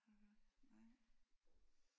Nej